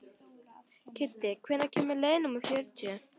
Kiddi, hvenær kemur leið númer fjörutíu?